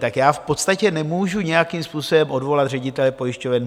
Tak já v podstatě nemůžu nějakým způsobem odvolat ředitele pojišťoven.